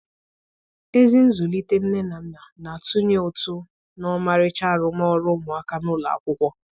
Ezi nzụlite nne na nna na-atụnye ụtụ na ọmarịcha arụmọrụ ụmụaka n'ụlọ akwụkwọ